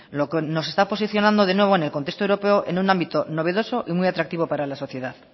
lo que nos está posicionando de nuevo en el contexto europeo en un ámbito novedoso y muy atractivo para la sociedad